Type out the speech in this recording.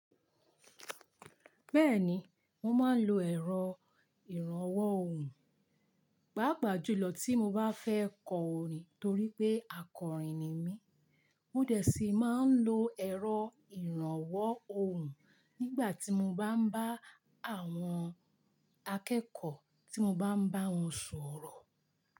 Bẹ́ẹ̀ni, mo máa ń lo ẹ̀rọ ìrànwọ́ ohùn, pàápàá jùlọ tí mo bá fẹ́ kọ orin torí pé akọrin ni mí. Mo dẹ̀ sí máa ń lo ẹ̀rọ ìrànwọ́ ohùn nígbà tí mo bá ń bá àwọn akẹ́kọ̀ọ́ tí mo bá ń bá wọn sọ̀rọ̀